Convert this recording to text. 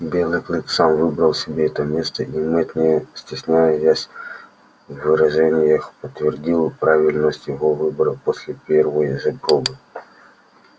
белый клык сам выбрал себе это место и мэтт не стесняясь в выражениях подтвердил правильность его выбора после первой же пробы